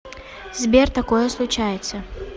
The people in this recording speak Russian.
сбер такое случается